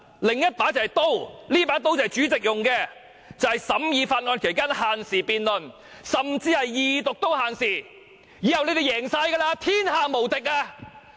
另一把就是刀，這把刀是主席用的，就是審議法案期間限時辯論，甚至在二讀也限時，以後你們"贏晒"，天下無敵。